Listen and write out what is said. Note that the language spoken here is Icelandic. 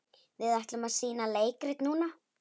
Við ætlum að sýna leikrit núna.